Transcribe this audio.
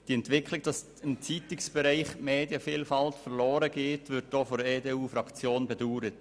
Die Entwicklung, dass im Zeitungsbereich die Vielfalt verloren geht, wird auch von der EDU-Fraktion bedauert.